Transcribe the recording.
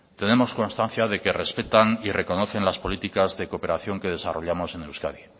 tenemos constancia de que respetan y reconocen las políticas de cooperación que desarrollamos en euskadi